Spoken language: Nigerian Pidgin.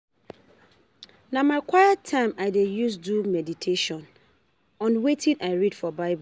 Na my quiet time I dey use do medition on wetin I read for Bible.